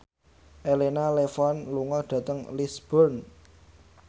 Elena Levon lunga dhateng Lisburn